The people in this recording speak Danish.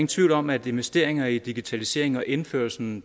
tvivl om at investeringer i digitalisering og indførelsen